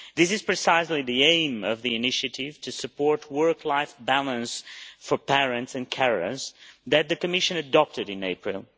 This is precisely the aim of the initiative to support work life balance for parents and carers which the Commission adopted in April